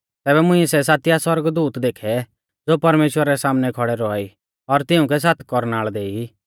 तैबै मुंइऐ सै सातिआ सौरगदूत देखै ज़ो परमेश्‍वरा रै सामनै खौड़ै रौआ ई और तिउंकै सात कौरनाल़ देई